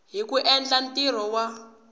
hi ku endla ntirho wa